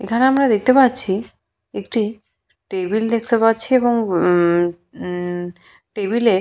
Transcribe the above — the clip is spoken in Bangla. এখানে আমরা দেখতে পাচ্ছি একটি টেবিল দেখতে পাচ্ছি এবং উমমমম টেবিল এ।